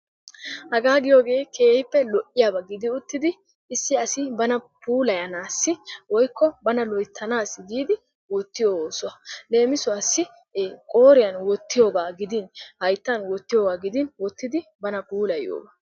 Haga giiyooge keehipe lo''iyaaba gidi uttidi issi asi bana puulayanassi woykko bana loyttanassi giidi oottiyo oossuwa. Leemisuwassi qooriyaan wottiyooga gidin hayttan wottiyooga gidin wottidi bana puulayiyooga.